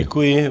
Děkuji.